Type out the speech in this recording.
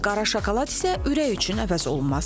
Qara şokolad isə ürək üçün əvəzolunmazdır.